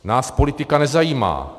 Nás politika nezajímá.